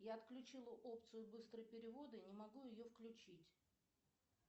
я отключила опцию быстрые переводы не могу ее включить